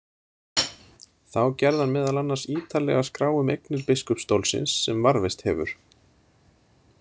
Þá gerði hann meðal annars ítarlega skrá um eignir biskupsstólsins, sem varðveist hefur.